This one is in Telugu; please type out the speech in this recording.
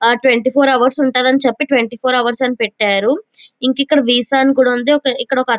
ఆహ్ ట్వంటీ ఫోర్ అవర్స్ ఉంటానని చెప్పి ట్వంటీ ఫోర్ అవర్స్ అని పెట్టారు. ఇంకా ఇక్కడ వీసా అని కూడా ఉంది ఒకతను --